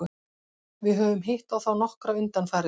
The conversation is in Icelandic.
Við höfum hitt á þá nokkra undanfarið.